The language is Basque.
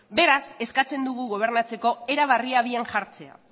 beraz eskatzen dugu gobernatzeko era berria abian jartzea